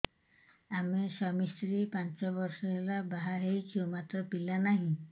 ଆମେ ସ୍ୱାମୀ ସ୍ତ୍ରୀ ପାଞ୍ଚ ବର୍ଷ ହେଲା ବାହା ହେଇଛୁ ମାତ୍ର ପିଲା ନାହିଁ